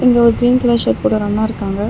இங்க ஒரு green colour shirt போட்டு ஒரு அண்ணாருக்காங்க.